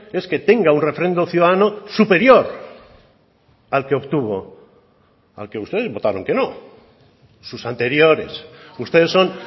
es que tenga un refrendo ciudadano superior al que obtuvo al que ustedes votaron que no sus anteriores ustedes son